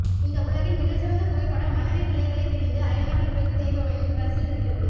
இந்த உலகின் மிகச்சிறந்த புகைப்படம் மனைவி பிள்ளைகளைப் பிரிந்து அயல்நாட்டில் உழைத்துத் தேய்பவனின் பர்ஸில் இருக்கிறது